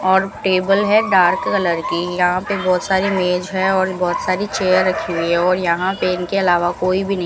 और टेबल है dark colour की यहां पे बहोत सारी मेज है और बहोत सारी चेयर रखी हुई है और यहां इनके के अलावा कोई भी नहीं --